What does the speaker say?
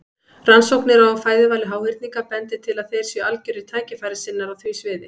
Rannsóknir á fæðuvali háhyrninga bendir til að þeir séu algjörir tækifærissinnar á því sviði.